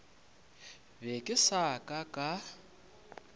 be ke sa ka ka